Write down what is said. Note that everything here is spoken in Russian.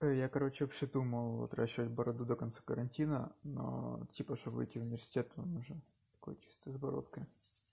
я короче вообще думал отращивать бороду до конца карантина но типа чтобы выйти в университет там уже такой чисто с бородкой